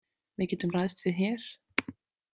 Við getum ræðst við hér.